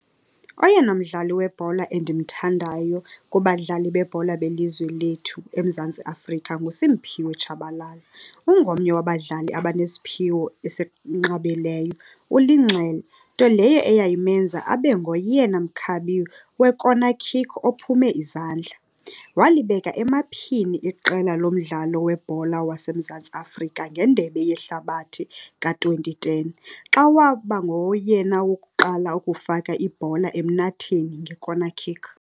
Oyena mdlali webhola endimthandayo kubadlali bebhola belizwe lethu eMzantsi Afrika nguSiphiwe Tshabalala. Ungomnye wabadlali abanesiphiwo esinqabileyo. Ulinxele, nto leyo eyayimenza abe ngoyena mkhabi we-corner kick ophume izandla. Walibeka emaphini iqela lomdlalo webhola waseMzantsi Afrika ngendebe yehlabathi ka-twenty ten. Xa waba ngoyena wokuqala ukufaka ibhola emnatheni nge-corner kick.